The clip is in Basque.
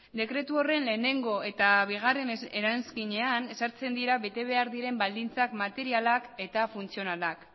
dekretu horren lehenengo eta bigarren eranskinean ezartzen dira bete behar diren baldintza materialak eta funtzionalak